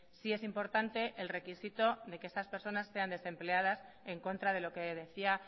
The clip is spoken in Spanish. sí es importante el requisito de que esas personas sean desempleadas en contra de lo que decía